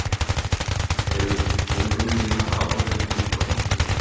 Eruð þið búnir að ákveða ykkur í formannskjörinu?